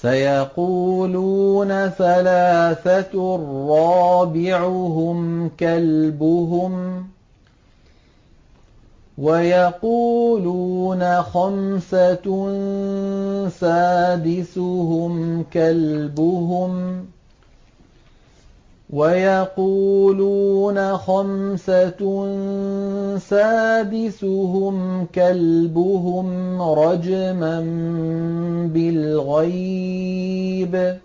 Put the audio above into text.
سَيَقُولُونَ ثَلَاثَةٌ رَّابِعُهُمْ كَلْبُهُمْ وَيَقُولُونَ خَمْسَةٌ سَادِسُهُمْ كَلْبُهُمْ رَجْمًا بِالْغَيْبِ ۖ